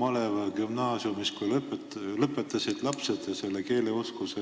Maleva gümnaasiumis ühte klassi, kuidas nad lõpetasid ja milline oli nende keeleoskus.